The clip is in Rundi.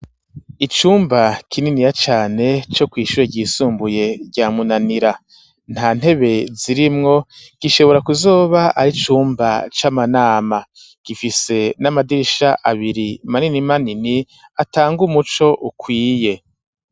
Icumba kininiya cane co kwishuye ryisumbuye rya Munanira nta ntebe zirimwo gishobora kuzoba ari cumba c'amanama gifise n'amadirisha abiri manini manini atanga umuco ukwiye.